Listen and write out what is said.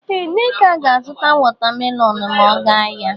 Ee Nneka ga-azụta watamelonụ ma ọ ga ahịa